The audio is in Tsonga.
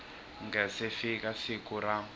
nga si fika siku ra